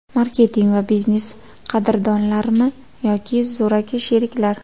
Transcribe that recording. Marketing va biznes: qadrdonlarmi yoki zo‘raki sheriklar?.